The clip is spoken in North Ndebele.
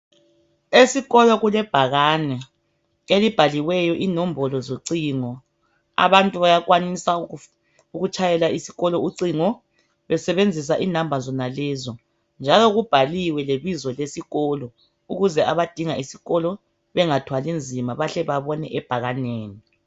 Esikolo kulebhakane elibhaliweyo inombolo zocingo, abantu bayakwanisa ukutshayela isikolo ucingo besebenzisa inamba lezi. Njalo kubhaliwe lebizo lesikolo ukuze abadinga isikolo bengathwali nzima bahle babone ebhakaneni.